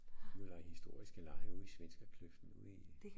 Ud at lege historiske lege ude i Svenskerkløften ude i